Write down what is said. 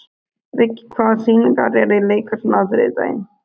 Viggi, hvaða sýningar eru í leikhúsinu á þriðjudaginn?